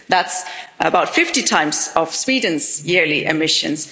That's about 50 times Sweden's yearly emissions.